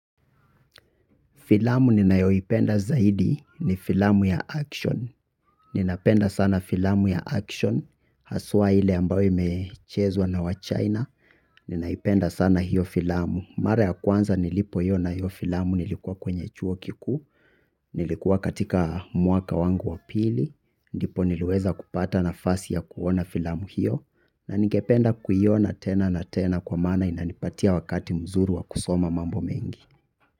Filamu ninayoipenda zaidi ni filamu ya action. Ninapenda sana filamu ya aksyon. Haswa ile ambayo imechezwa na wa chaina. Ninaipenda sana hiyo filamu. Mara ya kwanza nilipoiona hiyo filamu nilikuwa kwenye chuo kikuu. Nilikuwa katika mwaka wangu wa pili. Ndipo niliweza kupata nafasi ya kuona filamu hiyo. Na ningependa kuiona tena na tena kwa maana inanipatia wakati mzuri wa kusoma mambo mengi.